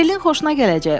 Berlin xoşuna gələcək.